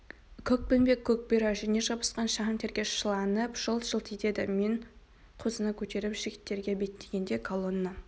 көкпеңбек көк бұйра жүніне жабысқан шаң терге шыланып жылт-жылт етеді мен қозыны көтеріп жігіттерге беттегенде колонна